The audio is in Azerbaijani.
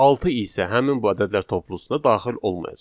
Altı isə həmin bu ədədlər toplusuna daxil olmayacaq.